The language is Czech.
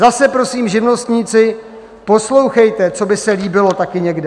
Zase prosím, živnostníci, poslouchejte, co by se líbilo taky někde.